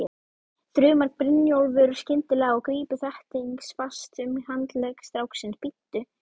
þrumar Brynjólfur skyndilega og grípur þéttingsfast um handlegg stráksins, bíddu!